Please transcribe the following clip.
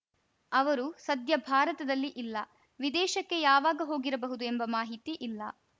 ಅವರು ಸದ್ಯ ಭಾರತದಲ್ಲಿ ಇಲ್ಲ ವಿದೇಶಕ್ಕೆ ಯಾವಾಗ ಹೋಗಿರಬಹುದು ಎಂಬ ಮಾಹಿತಿ ಇಲ್ಲ